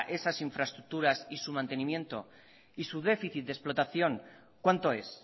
esas infraestructuras y su mantenimiento y su déficit de explotación cuánto es